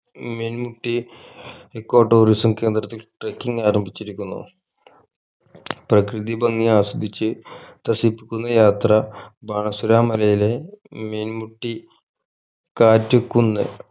Meenmutty echo tourism കേന്ദ്രത്തിൽ trucking ആരംഭിച്ചിരിക്കുന്നു പ്രകൃതി ഭംഗി ആസ്വദിച് ത്രസിപ്പിക്കുന്ന യാത്ര ബാണാസുര മലയിലെ മീൻമുട്ടി കാറ്റ് കുന്ന്